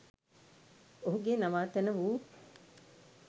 ඔහුගේ නවාතැන වූ